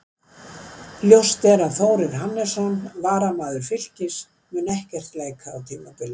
Ljóst er að Þórir Hannesson, varnarmaður Fylkis, mun ekkert leika á tímabilinu.